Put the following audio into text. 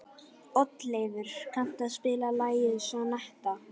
Oddleifur, kanntu að spila lagið „Sonnetta“?